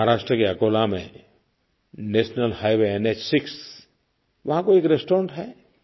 महाराष्ट्र के अकोला में national highway NH6 वहाँ कोई एक रेस्टॉरेंट है